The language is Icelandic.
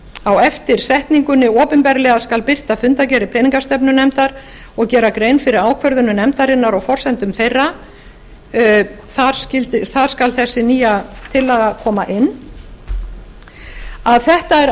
á eftir setningunni opinberlega skal birta fundargerðir peningastefnunefndar og gera grein fyrir ákvörðunum nefndarinnar og forsendum þeirra þar skal þessi nýja tillaga koma inn þetta er algerlega í samræmi við þann tón sem